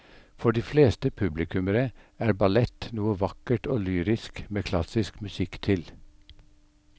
For de fleste publikummere er ballett noe vakkert og lyrisk med klassisk musikk til.